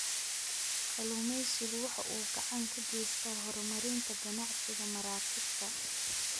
Kalluumaysigu waxa uu gacan ka geystaa horumarinta ganacsiga maraakiibta.